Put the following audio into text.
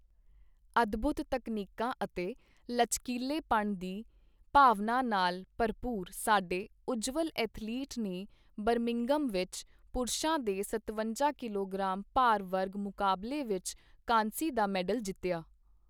ਅਦਭੂਤ ਤਕਨੀਕਾਂ ਅਤੇ ਲਚਕਿਲ੍ਹੇਪਣ ਦੀ ਭਾਵਨਾ ਨਾਲ ਭਰਪੂਰ, ਸਾਡੇ ਉੱਜਵਲ ਐਥਲੀਟ ਨੇ ਬਰਮਿੰਘਮ ਵਿੱਚ ਪੁਰਸ਼ਾਂ ਦੇ ਸਤਵੰਜਾ ਕਿਲੋਗ੍ਰਾਮ ਭਾਰ ਵਰਗ ਮੁਕਾਬਲੇ ਵਿੱਚ ਕਾਂਸੀ ਦਾ ਮੈਡਲ ਜਿੱਤਿਆ।